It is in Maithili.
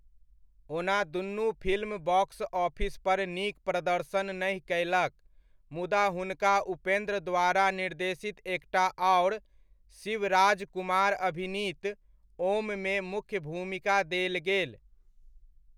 ओना दुनू फिल्म बॉक्स ऑफिस पर नीक प्रदर्शन नहि कयलक, मुदा हुनका उपेंद्र द्वारा निर्देशित एकटा आओर शिवराजकुमार अभिनीत 'ओम'मे मुख्य भूमिका देल गेल।